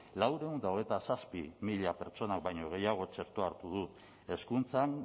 laurehun eta hogeita zazpi mila pertsonak baino gehiago txertoa hartu du hezkuntzan